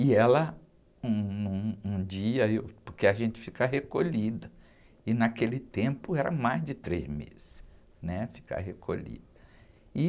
E ela, um, num, um dia, porque a gente fica recolhida, e naquele tempo era mais de três meses, né? Ficar recolhida, e...